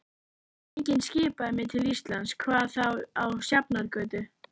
Enginn skipaði mér til Íslands, hvað þá á Sjafnargötu.